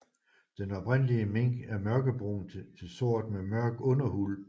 Den oprindelige mink er mørkebrun til sort med mørk underuld